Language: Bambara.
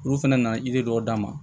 Olu fɛnɛ na dɔw d'a ma